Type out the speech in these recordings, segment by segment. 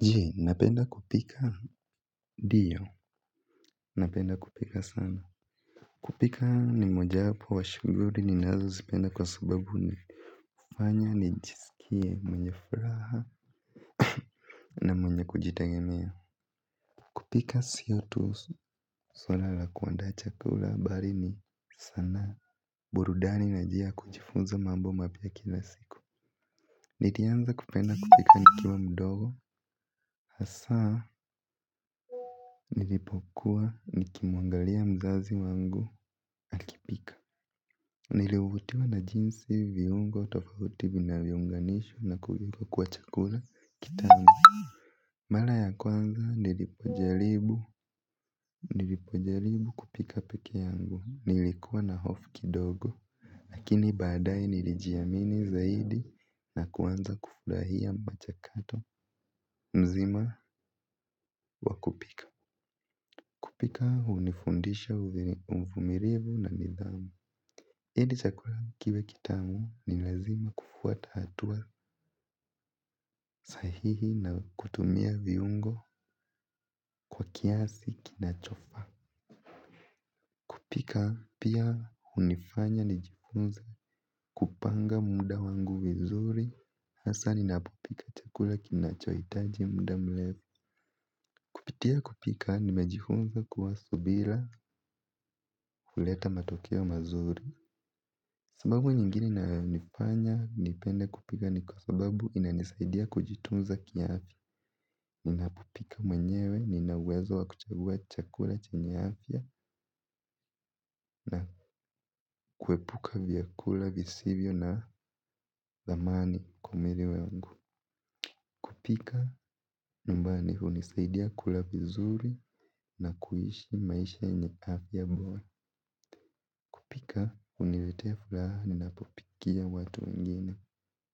Je, napenda kupika ndio, napenda kupika sana. Kupika ni moja apo wa shuguli ninazo zipenda kwa subabu ni fanya ni njisikie mwenye furaha na mwenye kujitegemea. Kupika siyo tu swala la kuanda chakula bali ni saana. Burudani na njia ya kuchifunza mambo mapya kila siku nlianza kupenda kupika nikiwa mdogo. Hasaa nilipokuwa nikimuangalia mzazi wangu akipika. Nilivutiwa na jinsi viungo tofauti vinavyounganishwa na kuekwa kwa chakula kitamu. Mara ya kwanza nilipojaribu kupika pekee yangu nilikuwa na hofu kidogo. Lakini badae nilijiamini zaidi na kuanza kufurahia machakato mzima wakupika. Kupika hunifundisha umumilivu na nidhamu ili chakula kiwe kitamu ni lazima kufuata hatua sahihi na kutumia viungo kwa kiasi kinachofa. Pika pia hunifanya nijifunze kupanga muda wangu vizuri. Hasa ninapopika chakula kinachoitaji muda mrefu kupitia kupika nimejifunza kuwa subira huleta matokeo mazuri. Sababu nyingine nayo nifanya, nipende kupika ni kwa sababu inanisaidia kujitunza ki afya. Ninapopika mwenyewe, nina uwezo wa kuchagua chakula chenye afya na kuepuka vyakula visivyo na thamani kwa mwili wangu. Kupika, nyumbani hunisaidia kula vizuri na kuishi maisha yenye afya bora. Kupika hunilete furaha ninapopikia watu wengine,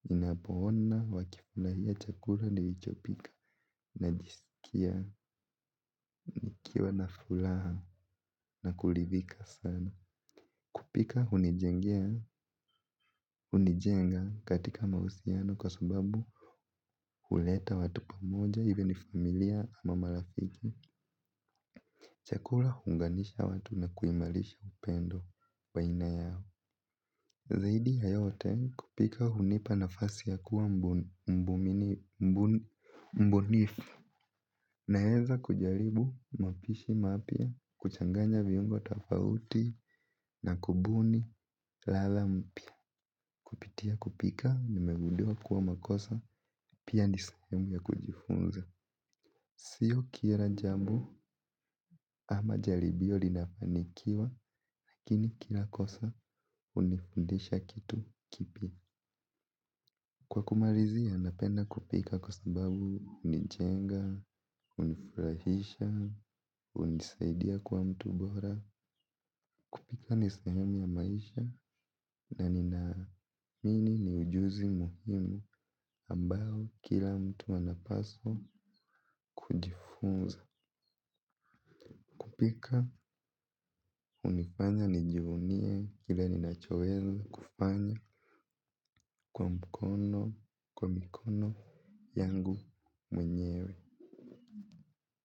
ninapoona wakifurahia chakula nilichopika, najisikia, nikiwa na furaha na kuridhika sana. Kupika hunijenga katika mahusiano kwa sababu, huleta watu pamoja even if familia ama marafiki, chakula huunganisha watu na kuimarisha upendo baina yao. Zaidi ya yote kupika hunipa nafasi ya kuwa mbunifu naeza kujaribu mapishi mapya kuchanganya viungo tofauti na kubuni latha mpya kupitia kupika nimeguduwa kuwa makosa pia ni sehemu ya kujifunza. Sio kila jambo ama jaribio linafanikiwa lakini kila kosa hunifundisha kitu kipya. Kwa kumalizia napenda kupika kwa sababu hunijenga, hunifurahisha, hunisaidia kua mtu bora. Pika ni sahemu ya maisha na ninaamini ni ujuzi muhimu ambao kila mtu anapaswa kujifunza. Kupika, unifanya, nijivunie kile ninachoweza kufanya kwa mkono, kwa mikono yangu mwenyewe.